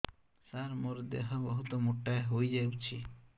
ସାର ମୋର ଦେହ ବହୁତ ମୋଟା ହୋଇଯାଉଛି